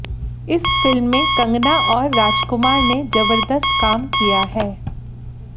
इस फिल्म में कंगना और राजकुमार ने जबरदस्त काम किया है